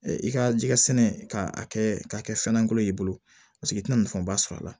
I ka jɛgɛ sɛnɛ k'a kɛ k'a kɛ fɛn golo ye i bolo i tina nafaba sɔrɔ a la